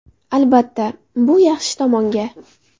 Albatta, bu yaxshi tomonga.